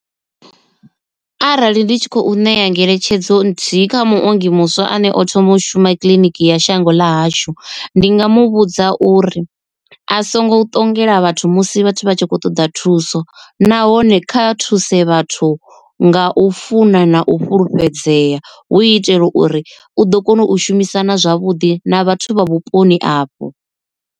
Arali ndi tshi khou ṋea ngeletshedzo nthihi kha muongi muswa ane o thoma u shuma kiḽiniki ya shango ḽa hashu ndi nga mu vhudza uri a songo ṱongela vhathu musi vhathu vha tshi khou ṱoḓa thuso. Nahone kha thuse vhathu nga u funa na u fhulufhedzea hu itela uri u ḓo kona u shumisana zwavhuḓi na vhathu vha vhuponi afho.